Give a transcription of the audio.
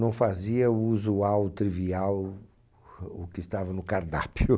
Não fazia o usual, o trivial, o que estava no cardápio.